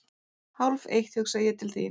Hálfeitt hugsa ég til þín.